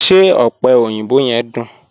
Ṣé ọ̀pẹ̀ oyinbò yẹ̀m duń?